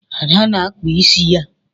Ada na-akpa ịsị ya